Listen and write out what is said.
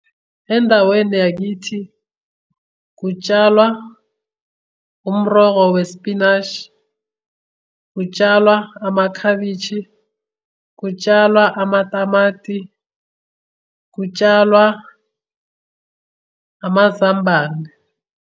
Endaweni yakithi kutshalwa umrholo wespinashi, kutshalwa amakhabishi, kutshalwa amatamati, kutshalwa amazambane.